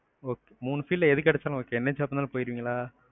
okay மூணு field ல எது கிடைச்சாலும் போயிருவீங்களா?